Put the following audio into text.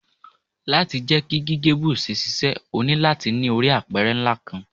Lati jẹ ki gige buzz ṣiṣẹ, o nilo lati ni ori apẹrẹ nla kanq